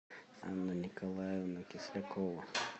анна николаевна кислякова